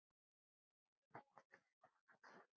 Erla: Hefurðu smakkað svona áður?